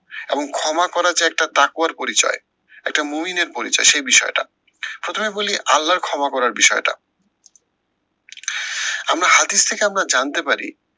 এবং ক্ষমা করা যে একটা তাকওয়ার পরিচয় একটা মহীনের পরিচয়, সেই বিষয়টা। প্রথমে বলি আল্লার ক্ষমা করার বিষয়টা। আমরা হাতিশ থেকে আমরা জানতে পারি,